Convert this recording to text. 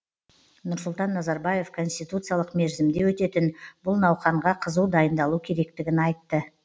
нұрсұлтан назарбаев конституциялық мерзімде өтетін бұл науқанға қызу дайындалу керектігін айтты